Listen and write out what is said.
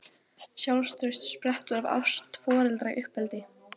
Sjálfstraust sprettur af ást foreldra í uppeldi.